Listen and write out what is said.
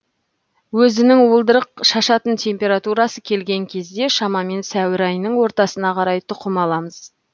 өзінің уылдырық шашатын температурасы келген кезде шамамен сәуір айының ортасына қарай тұқым аламыз